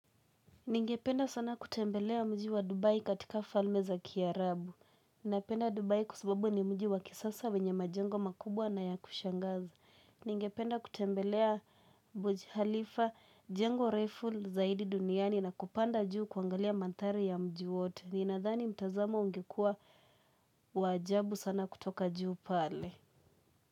Ningependa sana kutembelea mji wa Dubai katika falme za kiarabu. Ninapenda Dubai kwa sababu ni mji wa kisasa wenye majengo makubwa na ya kushangaza. Ningependa kutembelea burji khalifa jengo refu zaidi duniani na kupanda juu kuangalia manthari ya mji wote. Ninadhani mtazamo ungekua wa ajabu sana kutoka juu pale.